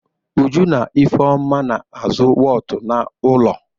Uju na Ifeọma na-azụ wọọtụ n'ụlọ.